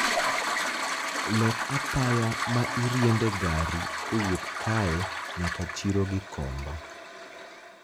lok apaya ma iriembe gari kowuok kae nyaka chiro gikomba